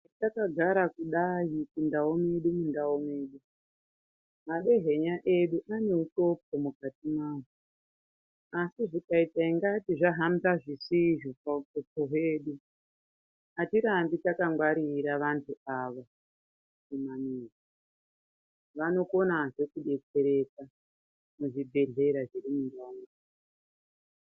Takagara kudai muchindau medu mundau mwedu, madehenya edu ane uxopo mukati mwawo, asi zvikaite ingati zvahamba zvisizvo pauxopo hwedu, atirambi takangwarira vantu ava mumamizi. Vanokonazve kubetsereka muzvibhedhlera zviri mundau.